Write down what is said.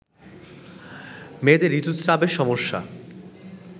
মেয়েদের ঋতুস্রাবে সমস্যা